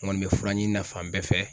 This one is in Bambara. N kɔni bɛ fura ɲini na fan bɛɛ fɛ.